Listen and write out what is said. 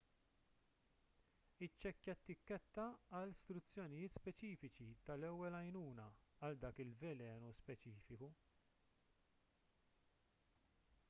iċċekkja t-tikketta għal struzzjonijiet speċifiċi tal-ewwel għajnuna għal dak il-velenu speċifiku